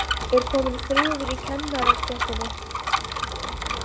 Er kominn friður í kennarastéttinni?